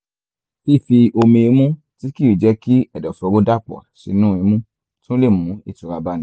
fífi omi imú tí kìí jẹ́ kí ẹ̀dọ̀fóró dàpọ̀ sínú imú tún lè mú ìtura báni